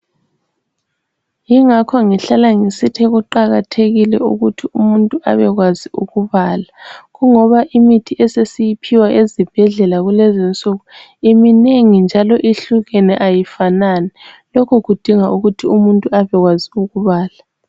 Yingakho ngihlala ngisithi kuqakathekile ukuthi umuntu abekwazi ukubala kungoba imithi esesiyiphiwa ezibhedlela kulezinsuku iminengi njalo ihlukene ayifanani lokhu kudinga ukuthi umuntu abekwazi ukubala.